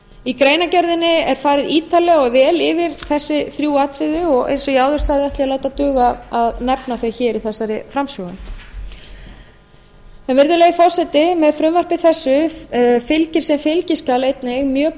í greinargerðinni er farið ítarlega og vel yfir þessi þrjú atriði og eins og á áður sagði ætla ég að láta duga að nefna þau hér í þessari framsögu virðulegi forseti með frumvarpi þessu fylgir sem fylgiskjal einnig mjög